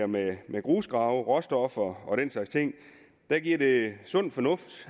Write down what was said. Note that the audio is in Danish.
med grusgrave råstoffer og den slags ting er det sund fornuft